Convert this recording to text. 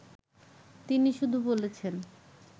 তিনি শুধু বলেছেন